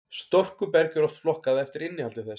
storkuberg er oft flokkað eftir innihaldi þess